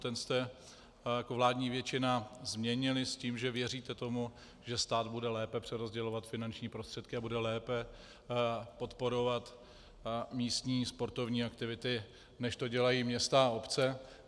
Ten jste jako vládní většina změnili s tím, že věříte tomu, že stát bude lépe přerozdělovat finanční prostředky a bude lépe podporovat místní sportovní aktivity, než to dělají města a obce.